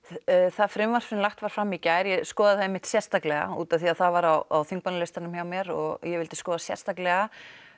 það frumvarp sem lagt var fram í gær ég skoðaði það einmitt sérstaklega útaf því að það var á þingmannalistanum hjá mér og ég vildi skoða það sérstaklega